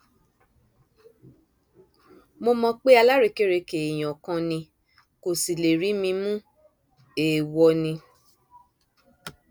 nínú rúkèrúdò tó ṣẹlẹ ọhún ni wọn ti ti fìgò gún òṣìṣẹ rstma oguntìrẹrẹhìn lójú